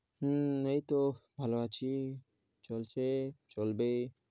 হুম এই তো ভালো আছি, চলছে, চলবে।